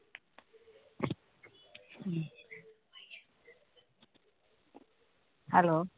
hello